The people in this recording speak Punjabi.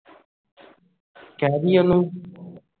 ਕਹਿ ਦਵੀਂ ਉਸ ਨੂੰ